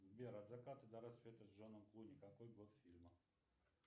сбер от заката до рассвета с джоном клуни какой год фильма